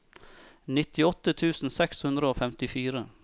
nittiåtte tusen seks hundre og femtifire